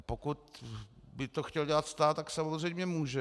A pokud by to chtěl dělat stát, tak samozřejmě může.